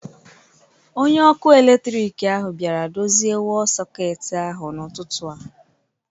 Onye ọkụ eletrik ahụ bịara dozie wọl sọketi ahụ n'ụtụtụ a